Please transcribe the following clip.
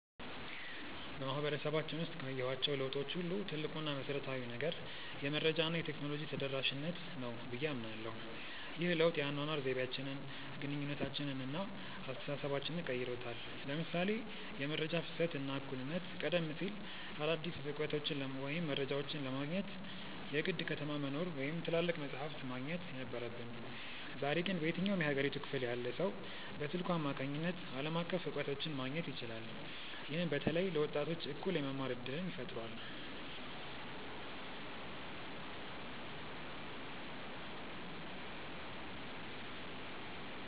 በማህበረሰባችን ውስጥ ካየኋቸው ለውጦች ሁሉ ትልቁ እና መሰረታዊው ነገር "የመረጃ እና የቴክኖሎጂ ተደራሽነት" ነው ብዬ አምናለሁ። ይህ ለውጥ የአኗኗር ዘይቤያችንን፣ ግንኙነታችንን እና አስተሳሰባችንን ቀይሮታል ለምሳሌ የመረጃ ፍሰት እና እኩልነት ቀደም ሲል አዳዲስ እውቀቶችን ወይም መረጃዎችን ለማግኘት የግድ ከተማ መኖር ወይም ትላልቅ መጻሕፍት ማግኘት ነበረብን። ዛሬ ግን በየትኛውም የሀገሪቱ ክፍል ያለ ሰው በስልኩ አማካኝነት ዓለም አቀፍ እውቀቶችን ማግኘት ይችላል። ይህም በተለይ ለወጣቶች እኩል የመማር እድልን ፈጥሯል።